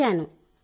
చేయించాను